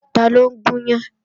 Taló ń gún yán?